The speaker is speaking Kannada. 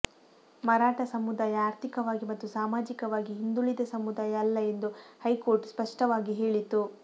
ಮರಾಠಾ ಸಮುದಾಯ ಆರ್ಥಿಕವಾಗಿ ಮತ್ತು ಸಾಮಾಜಿಕವಾಗಿ ಹಿಂದುಳಿದ ಸಮುದಾಯ ಅಲ್ಲ ಎಂದು ಹೈಕೋರ್ಟ್ ಸ್ಪಷ್ಟವಾಗಿ ಹೇಳಿತು